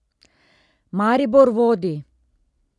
Maribor vodi!